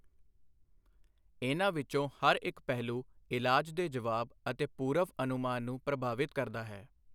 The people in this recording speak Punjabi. ਇਹਨਾਂ ਵਿੱਚੋਂ ਹਰ ਇੱਕ ਪਹਿਲੂ ਇਲਾਜ ਦੇ ਜਵਾਬ ਅਤੇ ਪੂਰਵ ਅਨੁਮਾਨ ਨੂੰ ਪ੍ਰਭਾਵਿਤ ਕਰਦਾ ਹੈ।